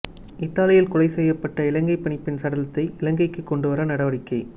இத்தாலியில் கொலை செய்யப்பட்ட இலங்கைப் பணிப்பெண்ணின் சடலத்தை இலங்கைக்கு எடுத்துவர நடவடிக்கை